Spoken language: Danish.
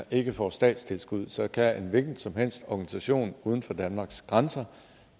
ikke får statstilskud så kan en hvilken som helst organisation uden for danmarks grænser